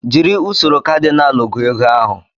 Jiri usoro kadinal gụọ ego ahụ